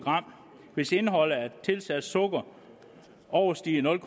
varer hvis indhold af tilsat sukker overstiger nul